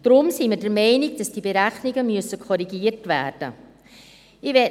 Deshalb sind wir der Meinung, dass die Berechnungen korrigiert werden müssen.